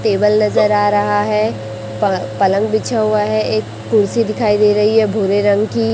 Table नजर आ रहा है प पलंग बिछा हुआ है एक कुर्सी दिखाई दे रही है भूरे रंग की।